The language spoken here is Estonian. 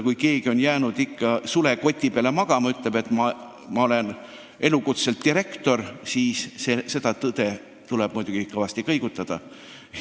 Kui keegi on jäänud sulekoti peale magama ja arvab, et ta on terveks eluks elukutseline direktor, siis seda arvamust saab kõvasti kõigutada.